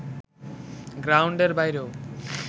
গ্রাউন্ডের বাইরেও